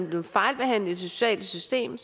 blevet fejlbehandlet i det sociale system